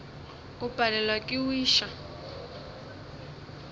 o palelwa ke go iša